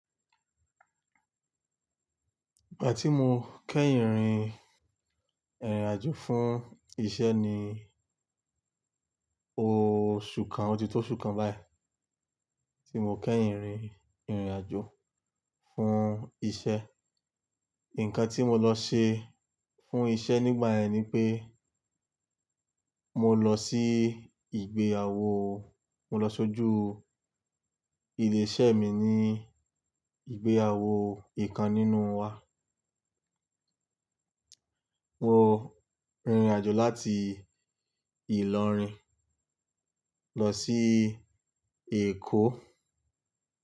Ìgbà tí mo kẹ́yìn rin ìrìnàjò fún iṣẹ́ ni oṣù kan, ọti tó oṣù kan báyìí tí mo kẹ́yìn rin ìrìnàjò fún iṣẹ́. Ǹkan tí mo lọ ṣe fún iṣẹ́ nígbà yẹn ni pé mo lọ sí ìgbéyàwó, mo lọ sójú ilé iṣẹ́ mi ní ìgbéyàwó ìkan nínú wa. Mo rìnrìnàjò láti Ìlọrin lọ sí Èkó.